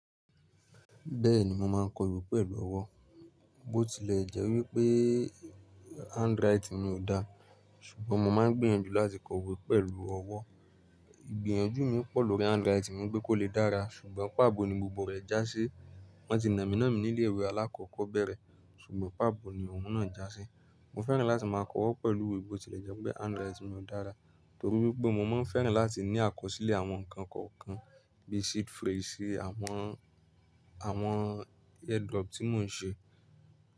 Bẹ́ẹ̀ni mo máa ń kọ ìwé pẹ̀lú ọwọ́. Bótilẹ̀ jẹ́ wípé handwriting mi ò dáa, ṣùgbọ́n mo máa ń gbìyànjú láti kọ ìwé pẹ̀lú ọwọ́. Ìgbìyànjú mi pọ̀ lórí handwriting mi gbé kó lè dára ṣùgbọ́n pà á bo ni gbogbo rẹ̀ já sí. Wọ́n ti nà mí náà ní ilé ìwé alákọ̀ọ́bẹ̀rẹ̀ ṣùgbọ́n pà á bo ni òun náà já sí. Mo fẹ́ràn láti máa kọ ọwọ́ pẹ̀lú ìwé bó tilẹ̀ jẹ́ pé handwriting mi ò dára, torí wípé mo máa ń fẹ́ràn láti ní àkọsílẹ̀ àwọn nǹkan kọ̀ọ̀kan bí i sheet face àwọn, àwọn airdrop tí mò ń ṣe.